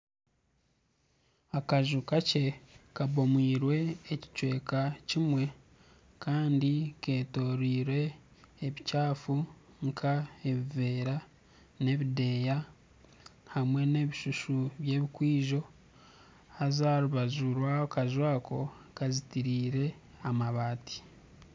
Akaju kakye kabomwirwe ekicweka kimwe Kandi ketoreirwe ebikyafu nka ebiveera n'ebideya hamwe n'ebishushu by'ebikwijo haza aharubaju rwa akaju ako, ha zitireize amabati.